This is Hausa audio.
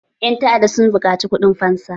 Ƴan ta'adda sun buƙaci kuɗin fansa.